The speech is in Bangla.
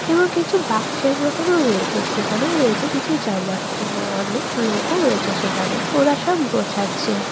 এবং কিছু বাক্সের মতনও রয়েছে সেখানেও রয়েছে কিছু জামা এবং অনেক লোকও রয়েছে সেখানে ওরা সব গোছাচ্ছে।